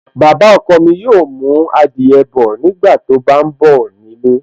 Baba ọkọ mi yóò mú adìyẹ bọ̀ nígbàtí ó bá ń bọ̀ nílé